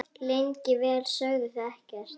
Lengi vel sögðu þau ekkert.